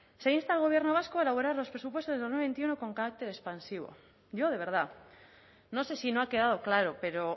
se insta al gobierno vasco a elaborar los presupuestos del dos mil veintiuno con carácter expansivo yo de verdad no sé si no ha quedado claro pero